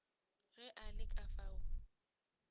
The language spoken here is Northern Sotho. ge a le ka fao